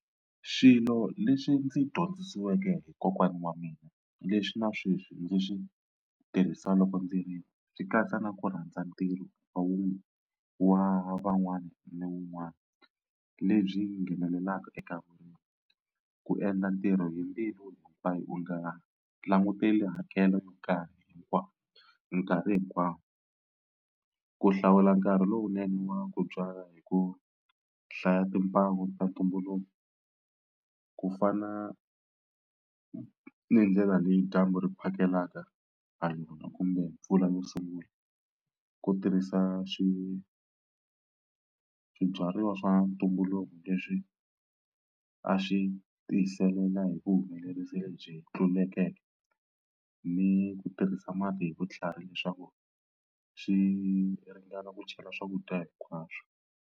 Swilo leswi ndzi dyondzisiweke hi kokwana wa mina leswi na sweswi ndzi swi tirhisa loko ndzi ri swi katsa na ku rhandza ntirho wa wu wa van'wani ni wun'wani lebyi nghenelelaka eka . Ku endla ntirho hi mbilu hinkwayo u nga languteli hakelo nkarhi hinkwawo nkarhi hinkwawo. Ku hlawula nkarhi lowunene wa ku byala hi ku hlaya timpawu ta ntumbuluko ku fana ni ndlela leyi dyambu ri phakelaka hala kumbe mpfula yo sungula. Ku tirhisa swibyariwa swa ntumbuluko leswi a swi tiyiselela hi vuhumelerisi lebyi tlulekeke ni ku tirhisa mati hi vutlhari leswaku swi ringana ku chela swakudya hinkwaswo.